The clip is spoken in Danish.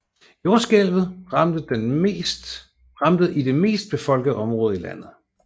Jordskælvet ramte i det mest befolkede område i landet